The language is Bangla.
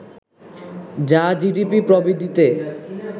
যা জিডিপি প্রবৃদ্ধিতে